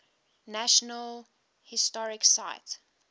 national historic site